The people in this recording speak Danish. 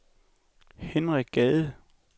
Henrik Gade